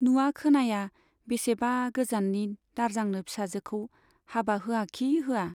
नुवा खोनाया बेसेबा गोजाननि दारजांनो फिसाजोखौ हाबा होआखि होआ।